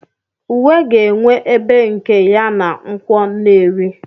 Uwe ga-enwe ebe nke ya na Nkwo nnewi.